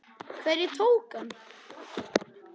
SKÚLI: Hverjir tóku hann?